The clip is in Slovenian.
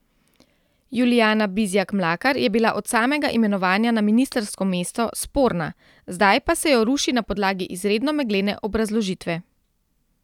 Julijana Bizjak Mlakar je bila od samega imenovanja na ministrsko mesto sporna, zdaj pa se jo ruši na podlagi izredno meglene obrazložitve.